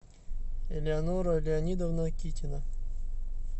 элеонора леонидовна китина